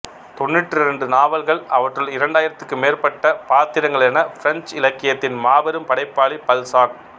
தொண்ணூற்றிரண்டு நாவல்கள் அவற்றுள் இரண்டாயிரத்துக்கு மேற்பட்ட பாத்திரங்களென பிரெஞ்சு இலக்கியத்தின் மாபெரும் படைப்பாளி பல்சாக்